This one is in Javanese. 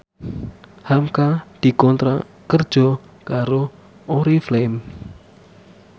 hamka dikontrak kerja karo Oriflame